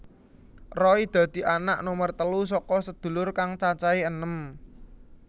Roy dadi anak nomer telu saka sedulur kang cacahé enem